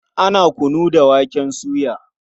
Ana kunu da waken soya.